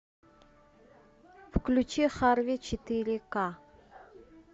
включи харви четыре ка